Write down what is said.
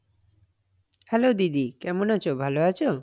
Hello দিদি, কেমন আছো, ভালো আছো?